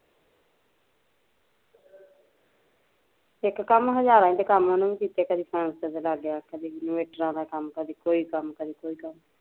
ਇੱਕ ਕੰਮ ਹਜ਼ਾਰਾਂ ਤੇ ਈ ਕੰਮ ਉਹਨੇ ਕਿਤੇ ਕਦੇ ਪ੍ਹੋਣਸ ਤੇ ਲੱਗ ਗਿਆ ਕਦੇ ਇਨਵੇਟਰਾਂ ਦਾ ਕੰਮ ਕਦੀ ਕੋਈ ਕੰਮ ਕਦੀ ਕੋਈ ਕੰਮ